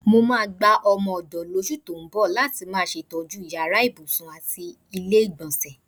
Mo máa gba o̩mo̩-ò̩dò̩ lós̩ù tó ń bò̩ láti máa s̩ètó̩jú yàrá ibùsùn àti ilé-ìgbò̩nsè̩.